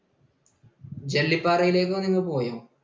ജെല്ലിപാറയിലേക്ക് നിങ്ങൾ പോയോ?